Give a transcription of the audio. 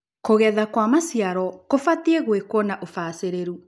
Kũgetha kwa maciaro kũbatie gwĩkuo na ũbacĩrĩru.